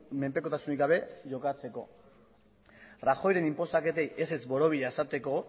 menpekotasunik gabe jokatzeko rajoyren inposaketei ezetz borobila esateko